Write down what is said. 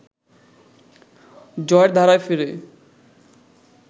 জয়ের ধারায় ফেরে